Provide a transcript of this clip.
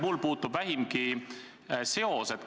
... millega mul puutub vähimgi seos?